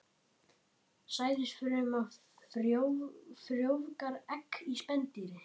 Sæðisfruma frjóvgar egg í spendýri.